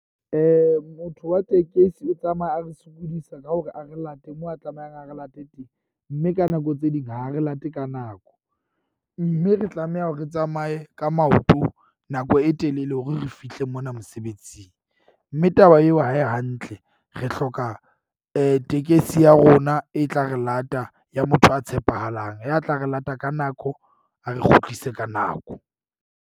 Motho wa tekesi o tsamaya a ntshokodisa ka hore a re late moo a tlamehang a re late teng. Mme ka nako tse ding ha re late ka nako. Mme re tlameha hore re tsamaye ka maoto nako e telele hore re fihle mona mosebetsing. Mme taba yeo ha e hantle, re hloka tekesi ya rona e tla re lata ya motho a tshepahalang, ya tla re lata ka nako, a re kgutlise ka nako.